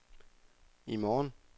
i morgen